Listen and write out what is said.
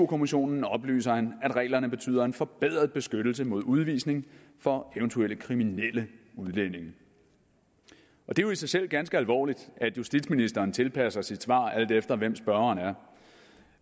kommissionen oplyser han at reglerne betyder en forbedret beskyttelse mod udvisning for eventuelt kriminelle udlændinge det er jo i sig selv ganske alvorligt at justitsministeren tilpasser sit svar alt efter hvem spørgeren er